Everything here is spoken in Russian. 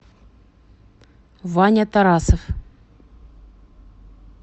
ваня тарасов